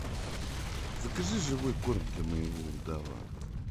закажи живой корм для моего удава